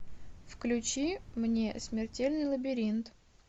включи мне смертельный лабиринт